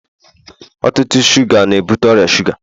ọtụtụ shuga na-ebute ọrịa shuga